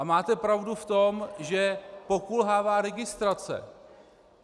A máte pravdu v tom, že pokulhává registrace.